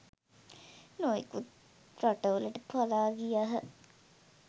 නොයෙකුත් රටවලට පලා ගියහ